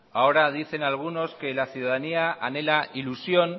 ahora dicen algunos que la ciudadanía anhela ilusión